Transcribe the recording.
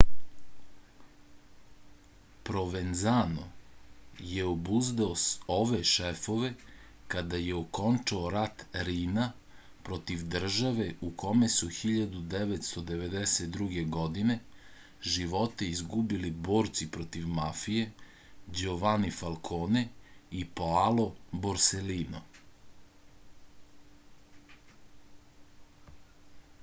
provenzano je obuzdao ove šefove kada je okončao rat rina protiv države u kome su 1992. godine živote izgubili borci protiv mafije đovani falkone i paolo borselino